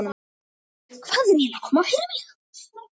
Hvað er eiginlega að koma fyrir mig?